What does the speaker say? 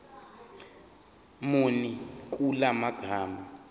muni kula magama